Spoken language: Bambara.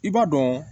I b'a dɔn